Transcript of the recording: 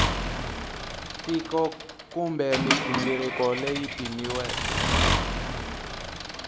tiko kumbe mighingiriko leyi pimiweke